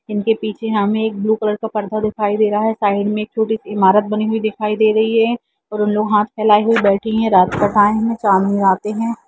इनके पीछे हमें एक ब्लू कलर का पर्दा दिखाई दे रहा है साइड में एक छोटी सी एक इमारत बनी हुई दिखाई दे रही है और उन लोग हाथ फैलाये हुए बैठे हैं आते है।